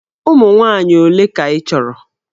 Ụmụ nwaanyị ole ka ị chọrọ?